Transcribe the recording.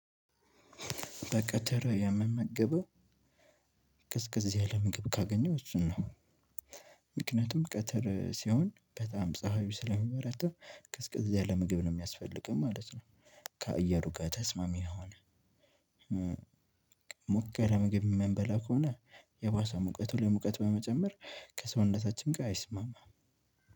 በቀተረ የምመግበው ቅዝቅዝ ያለ ምግብ ካገኘሁ እሱን ነው። ምክንያቱም ቀትር ሲሆን በጣም ፀሀዩ ስለሚበረታ ቀዝቀዝ ያለ ምግብ ነው የሚያስፈልገን ማለት ነው። ከአየሩ ጋር ተስማሚ የሆነ ሞቅ ያለ ምግብ የምንበላ ከሆነ የባሰ ሙቀቱ ላይ ሙቀት በመጨመር ከሰውነታችን ጋር አይስማማም።